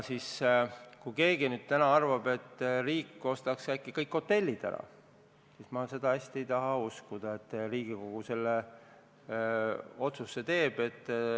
Kui keegi täna arvab, et äkki ostaks riik kõik hotellid ära, siis ma ei taha hästi uskuda, et Riigikogu selle otsuse teeb.